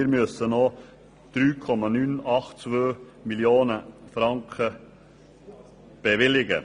Wir müssen noch 3,982 Mio. Franken bewilligen.